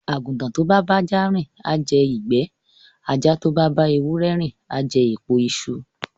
Àgùntàn tó bá bá ajá rìn á jẹ ìgbà, ajá tó bá bá ewúrẹ rìn á jẹ èpo iṣu.